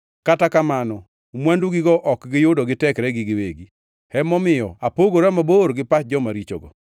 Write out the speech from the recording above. Kata kamano mwandugigo ok giyudo gi tekregi giwegi, emomiyo apogora mabor gi pach joma richogo.